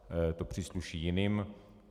To přísluší jiným.